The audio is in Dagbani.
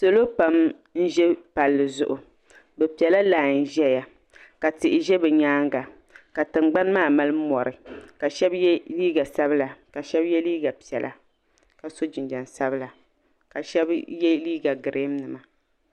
Salo pam n ʒi palli zuɣu bɛ pela lai ʒia ka tihi be bɛ nyaanga ka tingbani maa mali mori ka sheba ye liiga sabila ka sheba ye liiga piɛla ka so jinniɛm sabla ka sheba ye liiga girin nima.